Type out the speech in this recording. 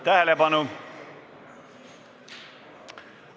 Tähelepanu!